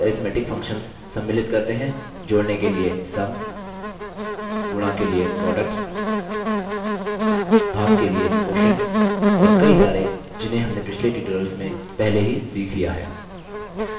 basic arithmetic functions सम्मिलित करते हैं जोड़ने के लिए sum गुणा के लिए product भाग के लिए quotient और कई सारे जिन्हें हमने पिछले tutorials में पहले ही सीख लिया है